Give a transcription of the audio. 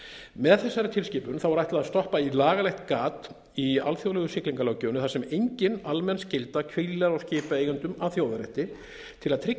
með þessari tilskipun er ætlað að stoppa í lagalegt gat í alþjóðlegu siglingalöggjöfinni þar sem engin almenn skylda hvílir á skipaeigendum að þjóðarétti til að tryggja